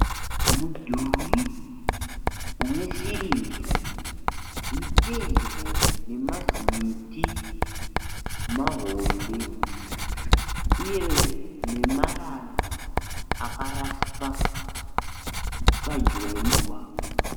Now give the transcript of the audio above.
Mudhuri wesirivha uri pedyo nemazimiti mahombe, uye nemarara akaraswa pedyo nemugwagwa.